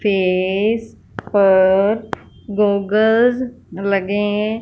face पर goggle लगें--